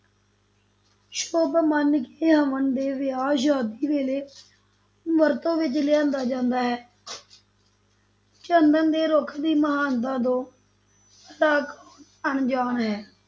ਸ਼ੁਭ ਮੰਨ ਕੇ ਹਵਨ ਤੇ ਵਿਆਹ-ਸ਼ਾਦੀ ਵੇਲੇ ਵਰਤੋਂ ਵਿਚ ਲਿਆਂਦਾ ਜਾਂਦਾ ਹੈ ਚੰਦਨ ਦੇ ਰੁੱਖ ਦੀ ਮਹਾਨਤਾ ਤੋਂ ਭਲਾ ਕੌਣ ਅਣਜਾਣ ਹੈ,